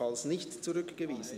Falls nicht zurückgewiesen …